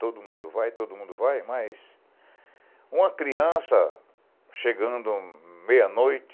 Todo mundo vai, todo mundo vai, mas... Uma criança, chegando meia-noite,